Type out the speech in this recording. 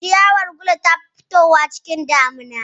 Ciyawar gulu ta fi fitowa lokacin damuna